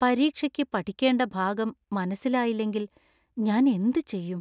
പരീക്ഷയ്ക്ക് പഠിക്കേണ്ട ഭാഗം മനസ്സിലായില്ലെങ്കിൽ ഞാൻ എന്ത് ചെയ്യും?